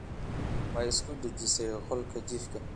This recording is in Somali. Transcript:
Ma isku dejisay qolka jiifka?